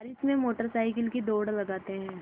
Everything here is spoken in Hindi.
बारिश में मोटर साइकिल की दौड़ लगाते हैं